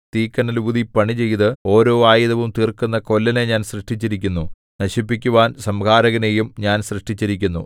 തീക്കനൽ ഊതി പണിചെയ്ത് ഓരോ ആയുധം തീർക്കുന്ന കൊല്ലനെ ഞാൻ സൃഷ്ടിച്ചിരിക്കുന്നു നശിപ്പിക്കുവാൻ സംഹാരകനെയും ഞാൻ സൃഷ്ടിച്ചിരിക്കുന്നു